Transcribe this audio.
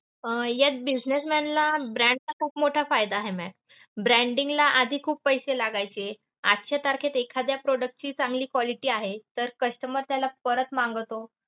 अं यात businessman ला brand चा खूप मोठा फायदा आहे ma'am. Branding ला आधी खूप पैसे लागायचे. आजच्या तारखेत एखाद्या product ची चांगली quality आहे, तर customer त्याला परत मागवतो.